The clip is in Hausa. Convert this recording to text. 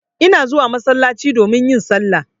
Ina zuwa masallaci domin yin salla.